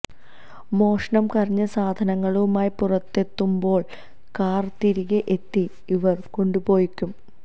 മോഷണം കഴിഞ്ഞ് സാധനങ്ങളുമായി പുറത്തെത്തുമ്പോള് കാര് തിരികെ എത്തി ഇവരെ കൊണ്ടുപോകും